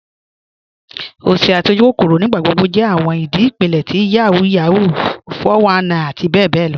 Osì àti ojúkòkòrò nígbàgbọ̀gbọ̀ jẹ́ awọn ìdí ipílẹ̀ ti Yahoo Yahoo, 419 àti bẹ̀bẹ̀ lọ.